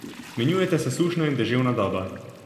Menjujeta se sušna in deževna doba.